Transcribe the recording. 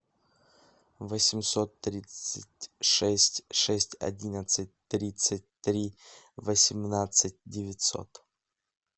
восемьсот тридцать шесть шесть одиннадцать тридцать три восемнадцать девятьсот